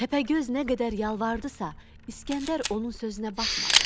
Təpəgöz nə qədər yalvardısa, İsgəndər onun sözünə baxmadı.